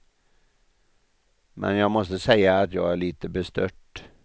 Men jag måste säga att jag är lite bestört.